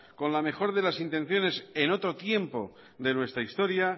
con la mejor de las intenciones en otro tiempo de nuestra historia